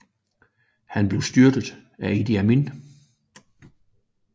Han blev styrtet af Idi Amin